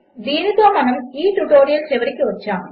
దీనితో మనము ఈ ట్యుటోరియల్ చివరికి వచ్చాము